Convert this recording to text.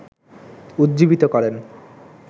উজ্জীবিত করেন